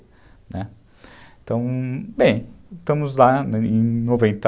Né, então, bem, estamos lá em noventa